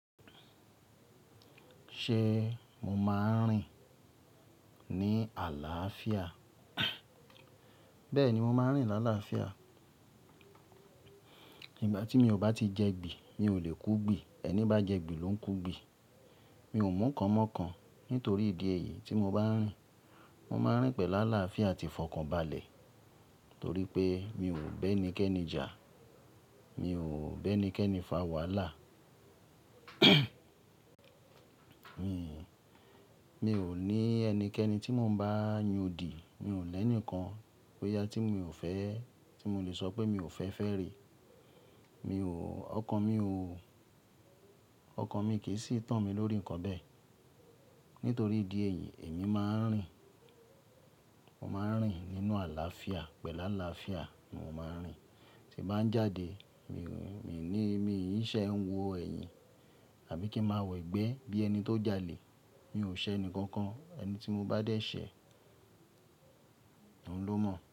Ṣé mo máa ń rìn ní àlàáfíà? Bẹ́ẹ̀ni, mo máa ń rìn lálàáfíà. Nígbà tí mi ò bá ti jẹ gbi, mi ò lè kú gbi. Ẹni bá jẹ gbi ló ń kú gbi. Mi ò mú nǹkan mọ́ kan. Nítorí ìdí èyí tí mo bá ń rìn, mo máa ń rìn pẹ̀lú àlàáfíà àti ìfọ̀kànbalẹ̀ torí pé mi ò bẹ́ ẹnikẹ́ni jà. Mi ò bẹ́ ẹnikẹ́ni fa wàhálà. Mi ò ní ẹnikẹ́ni tí mo ń bá yàn di. Mi ò lẹ́ni kan boyà tí mo lè sọ pé mi ò fẹ́ fẹ́ rí. Ọkàn mi ò, ọkàn mi kì í sì tán mi lórí ǹkan bẹ́ẹ̀. Nítorí ìdí èyí, èmi máa ń rìn. Mo máa ń rìn nínú àlàáfíà, pẹ̀lú àlàáfíà ni mo máa ń rìn. Tí mo bá ń jáde, mi ò ní, mi kì í ṣe ń wọ ẹ̀yìn àbí kí ń máa wọ ẹgbẹ́ bí ẹni tó jalè. Mi ò ṣẹ́ ẹnikankan. Ẹni tí mo bá dé ṣe, òun ló mọ̀